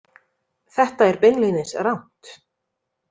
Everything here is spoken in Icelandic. Þetta er beinlínis rangt.